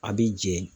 A b'i jɛ